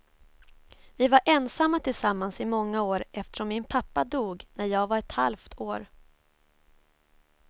Vi var ensamma tillsammans i många år eftersom min pappa dog när jag var ett halvt år.